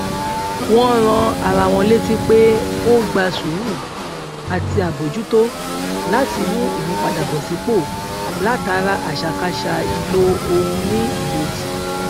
wón rán ara wọn létí pé ó gba sùúrù àti àbójútó láti ní ìmúpadàbọsípò látara àṣàkáṣà ìlò ohun ní ìlòdì